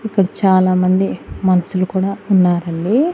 ఇక్కడ చాలామంది మనసులు కూడా ఉన్నారండి.